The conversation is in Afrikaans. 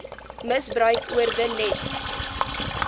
misbruik oorwin net